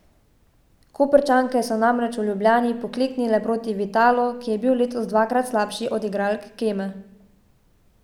Koprčanke so namreč v Ljubljani pokleknile proti Vitalu, ki je bil letos dvakrat slabši od igralk Keme.